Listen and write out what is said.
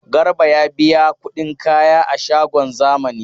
Garba ya biya kudin kaya a shagon zamani.